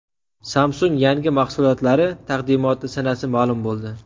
Samsung yangi mahsulotlari taqdimoti sanasi ma’lum bo‘ldi.